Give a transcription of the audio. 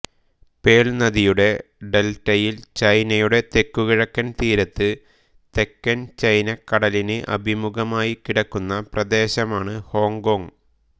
pearl നദിയുടെ ഡെൽറ്റയിൽ ചൈനയുടെ തെക്കു കിഴക്കൻ തീരത്ത് തെക്കൻ ചൈനക്കടലിന് അഭിമുഖമായി കിടക്കുന്ന പ്രദേശമാണ് ഹോങ്കോങ്ങ്